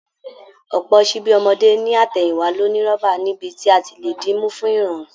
Ọ̀pọ̀ ṣíbí ọmọdé ní àtẹ̀yìnwá ló ní rọ́bà níbi tí a ti lè dì í mú fún ìrọ̀rùn